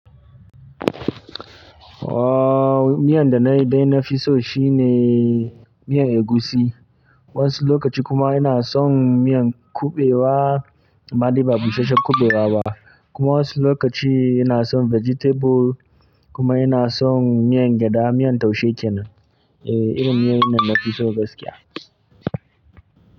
Oh, miyan da dai na fi so shine miyan egushi. Wasu lokaci kuma ina son miyar kuɓewa, amma dai ba busasshen kuɓewa ba. Kuma wasu lokaci ina son vegetable kuma ina son miyan gyada, miyan taushe kenan. E, irin miyar dana fi so gaskiya.